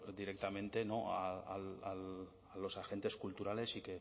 directamente a los agentes culturales y